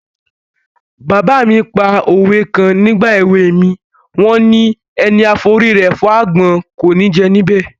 Bàbá mi pa òwe kan nígbà èwe mi, wọ́n ni: "Ẹni a forí rẹ̀ fágbọ́n, kò ní jẹ níbẹ̀".